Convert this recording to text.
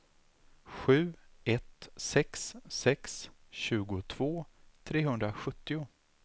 sju ett sex sex tjugotvå trehundrasjuttio